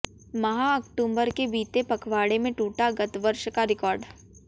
माह अक्टूबर के बीते पखवाड़े में टूटा गतवर्ष का रिकार्ड